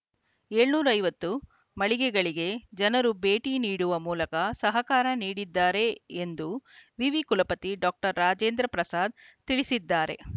ಏಳನೂರ ಐವತ್ತು ಮಳಿಗೆಗಳಿಗೆ ಜನರು ಭೇಟಿ ನೀಡುವ ಮೂಲಕ ಸಹಕಾರ ನೀಡಿದ್ದಾರೆ ಎಂದು ವಿವಿ ಕುಲಪತಿ ಡಾಕ್ಟರ್ ರಾಜೇಂದ್ರ ಪ್ರಸಾದ್‌ ತಿಳಿಸಿದ್ದಾರೆ